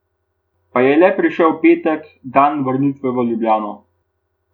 Pa je le prišel petek, dan vrnitve v Ljubljano.